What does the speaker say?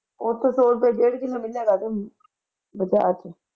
ਉਥੇ ਸੌ ਰੁਪਏ ਡੇਢ ਕਿਲੋ ਮਿਲ ਜਾਣਾ ਬਜਾਰ ਵਿਚ